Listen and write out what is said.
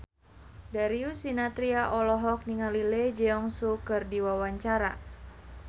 Darius Sinathrya olohok ningali Lee Jeong Suk keur diwawancara